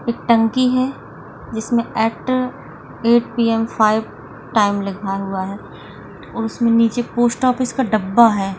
एक टंकी है जिसमे ॲक्टर एइट पीएम फाइव टाइम लिखा हुआ है और उसमे नीचे पोस्ट का डब्बा है।